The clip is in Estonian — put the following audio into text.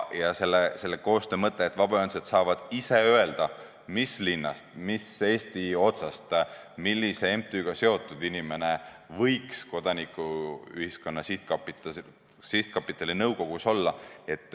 Ja sellise koostöö mõte on see, et vabaühendused saavad ise öelda, mis linnast, millisest Eesti otsast, millise MTÜ-ga seotud inimene võiks Kodanikuühiskonna Sihtkapitali nõukogus olla.